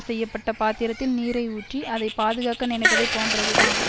செய்ய பட்ட பாத்திரத்தில் நீரை ஊற்றி அதை பாதுகாக்க நினைப்பதைப் போன்றதுதான்